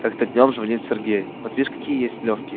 как-то днём звонит сергей вот видишь какие есть лёгкие